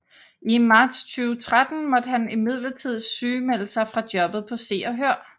I marts 2013 måtte han imidlertid sygemelde sig fra jobbet på Se og Hør